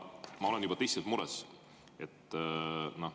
Ma olen juba tõsiselt mures.